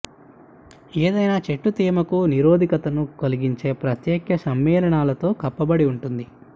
ఏదైనా చెట్టు తేమకు నిరోధకతను కలిగించే ప్రత్యేక సమ్మేళనాలతో కప్పబడి ఉంటుంది